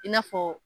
I n'a fɔ